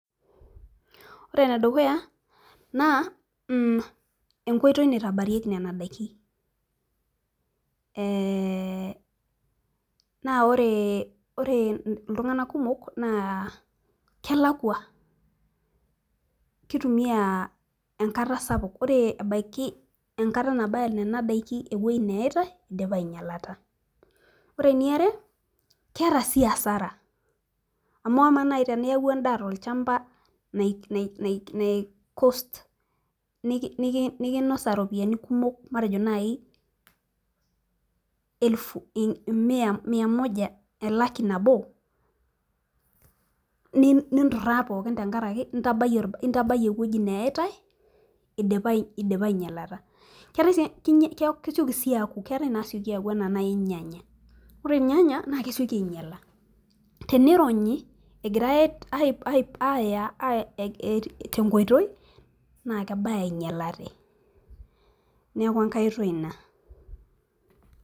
Ore ene dukuya naa enkoitoi naitabarieki Nena daikin, ee naa ore iltunganak kumok naa kelakua, kutumia enkata sapuk. ore ebaiki enkata nabaiki Nena daikin ewueji neitai idipa aingialata. ore eniare keeta sii asara. amu amaa naaji teniyaia edaa tolchampa, nai cost nikinosa. Ropiyiani kumok .matejo naaji, elaki nabo. ninturaa pookin tenkaraki intabayie ewueji neyitae, idipa aingialata. keetae naasioki aaku anaa naaji ilnyanya. ore ilnyanya naa kesioki aingiala. tenironnyi egirae aaya. Tenkoitoi naa kebaya ingialate. neeku enkae oitoi Ina.